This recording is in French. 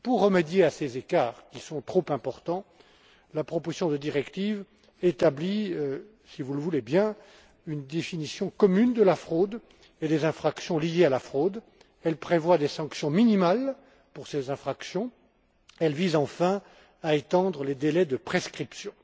Pour remédier à ces écarts, qui sont trop importants, la proposition de directive établit, si vous le voulez bien, une définition commune de la fraude et des infractions liées à la fraude, prévoit des sanctions minimales pour ces infractions et vise à étendre les délais de prescription.